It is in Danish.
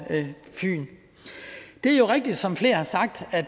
fyn det er jo rigtigt som flere har sagt at